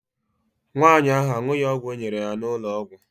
Nwaanyị ahụ aṅụghị ọgwụ e nyere ya n'ụlọ ọgwụ.